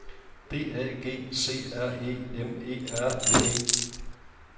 D A G C R E M E R N E